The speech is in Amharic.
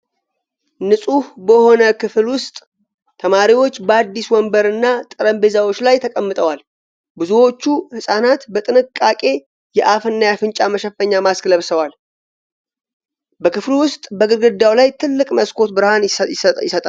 ንጹህ በሆነ የክፍል ውስጥ ተማሪዎች በአዲስ ወንበርና ጠረጴዛዎች ላይ ተቀምጠዋል። ብዙዎቹ ህፃናት በጥንቃቄ የአፍና የአፍንጫ መሸፈኛ (ማስክ) ለብሰዋል። በክፍሉ ውስጥ በግድግዳው ላይ ትልቅ መስኮት ብርሃን ይሰጣል።